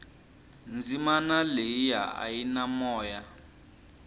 dzimana leyia a yi na moya